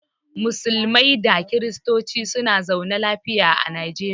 Musulmai da kiristonci suna zaune lafiya a najeriya.